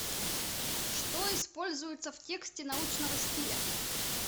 что используются в тексте научного стиля